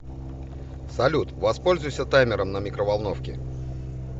салют воспользуйся таймером на микроволновке